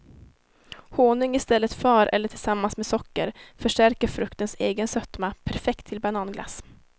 Honung i stället för eller tillsammans med socker förstärker fruktens egen sötma, perfekt till bananglass.